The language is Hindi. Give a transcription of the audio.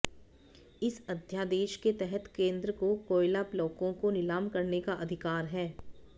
इस अध्यादेश के तहत केंद्र को कोयला ब्लॉकों को नीलाम करने का अधिकार है